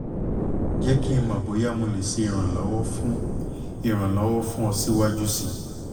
jẹ ki n mọ boya mo le ṣe iranlọwọ fun iranlọwọ fun ọ siwaju sii